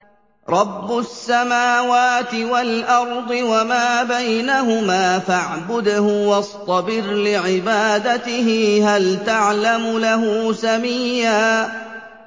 رَّبُّ السَّمَاوَاتِ وَالْأَرْضِ وَمَا بَيْنَهُمَا فَاعْبُدْهُ وَاصْطَبِرْ لِعِبَادَتِهِ ۚ هَلْ تَعْلَمُ لَهُ سَمِيًّا